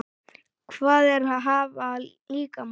Hvað er að hafa líkama?